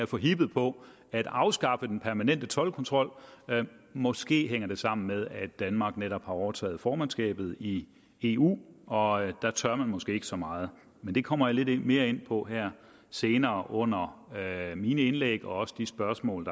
forhippet på at afskaffe den permanente toldkontrol måske hænger det sammen med at danmark netop har overtaget formandskabet i eu og der tør man måske ikke så meget men det kommer jeg lidt mere ind på her senere under mine indlæg og også de spørgsmål